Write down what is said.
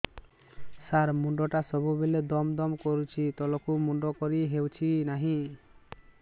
ସାର ମୁଣ୍ଡ ଟା ସବୁ ବେଳେ ଦମ ଦମ କରୁଛି ତଳକୁ ମୁଣ୍ଡ କରି ହେଉଛି ନାହିଁ